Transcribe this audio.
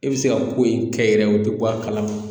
E bɛ se ka ko in kɛ yɛrɛ o bɛ bɔ a kalama